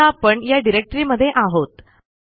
सध्या आपण या डिरेक्टमध्ये आहोत